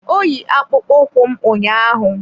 Ọ yi akpụkpọ ụkwụ m ụnyaahụ.